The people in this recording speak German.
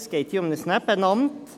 Es geht hier um ein Nebenamt.